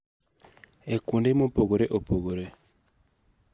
E kuonde mopogore opogore.